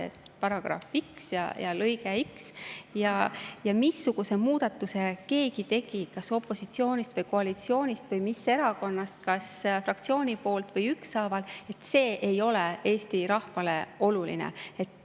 Kui on § x ja lõige x, siis missuguse muudatuse keegi tegi, kas opositsioonist või koalitsioonist või mis erakonnast, kas fraktsiooni poolt või üksinda – see ei ole Eesti rahvale oluline.